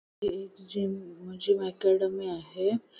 ही एक gym gym academy आहे.